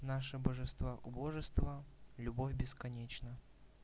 наша божества убожества любовь бесконечна